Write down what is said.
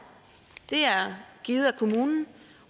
givet af kommunen